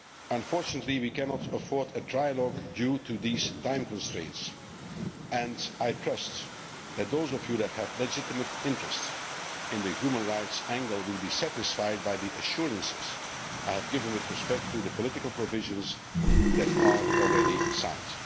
Unfortunately we cannot afford a trilogue, due to these time constraints, and I trust that those of you that have a legitimate interest in the human rights angle will be satisfied by the assurances given with respect to the political provisions that are already signed.